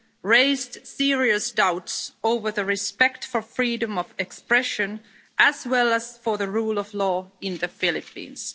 raised serious doubts over the respect for freedom of expression, as well as for the rule of law, in the Philippines.